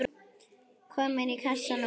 Komin í kassann og allt.